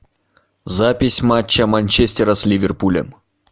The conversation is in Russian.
запись матча манчестера с ливерпулем